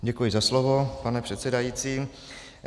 Děkuji za slovo, pane předsedající.